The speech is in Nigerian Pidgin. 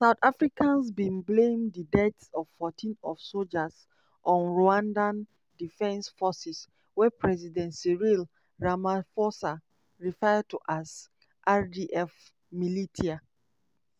south africans bin blame di deaths of 14 of sojas on rwandan defense forces wey president cyril ramaphosa refer to as "rdf militia."